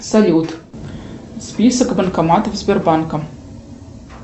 салют список банкоматов сбербанка